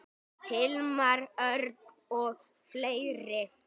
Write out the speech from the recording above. Hilmar Örn og fleiri.